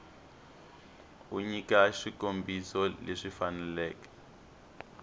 u nyika swikombiso leswi faneleke